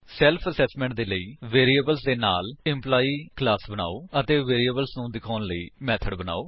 self assessment ਦੇ ਲਈ variables ਦੇ ਨਾਲ ਐਂਪਲਾਈ ਕਲਾਸ ਬਨਾਓ ਅਤੇ ਵੈਰਿਏਬਲਸ ਨੂੰ ਦਿਖਾਉਣ ਲਈ ਮੇਥਡ ਬਨਾਓ